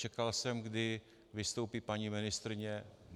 Čekal jsem, kdy vystoupí paní ministryně.